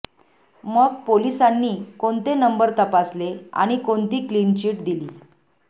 मग पोलिसांनी कोणते नंबर तपासले आणि कोणती क्लिन चिट दिली